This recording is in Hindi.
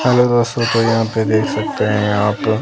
हेलो दोस्तों! तो यहां आप देख सकते हैं यहां पे--